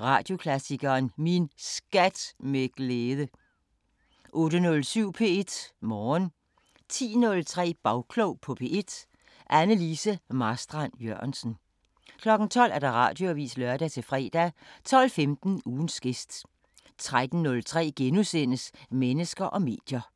Radioklassikeren: Min SKAT med glæde * 08:07: P1 Morgen 10:03: Bagklog på P1: Anne Lise Marstrand-Jørgensen 12:00: Radioavisen (lør-fre) 12:15: Ugens gæst 13:03: Mennesker og medier *